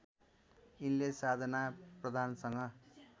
यिनले साधना प्रधानसँग